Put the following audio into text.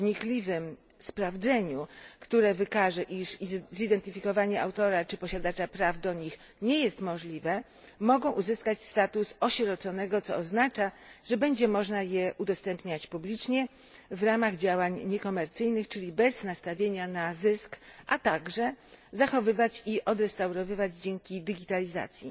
wnikliwym sprawdzeniu, które wykaże, iż zidentyfikowanie autora czy posiadacza praw do nich nie jest możliwe mogą uzyskać status osieroconego, co oznacza, że będzie można je udostępniać publicznie w ramach działań niekomercyjnych, czyli bez nastawienia na zysk, a także zachowywać i odrestaurowywać dzięki digitalizacji.